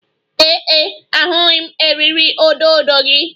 Ee e, ahụghị m eriri odo odo gị